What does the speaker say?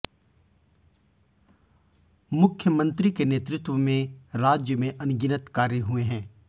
मुख्यमंत्री के नेतृत्व में राज्य में अनगिनत कार्य हुए हैं